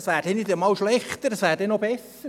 Dann wäre es nicht schlechter, sondern besser.